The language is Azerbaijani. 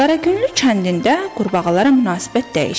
Qaraqünlü kəndində qurbağalara münasibət dəyişir.